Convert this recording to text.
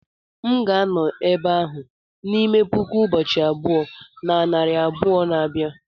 m ga-anọ n'ebe ahụ n'ime puku ụbọchị abụọ na narị abụọ na abia